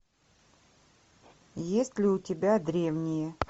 есть ли у тебя древние